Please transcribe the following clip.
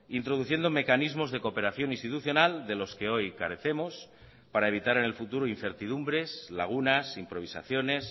introduciendo mecanismos de cooperación institucional de los que hoy carecemos para evitar en el futuro incertidumbres lagunas improvisaciones